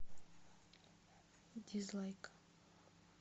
дизлайк